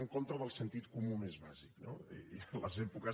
en contra del sentit comú més bàsic no i en les èpoques